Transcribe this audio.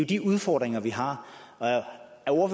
de udfordringer vi har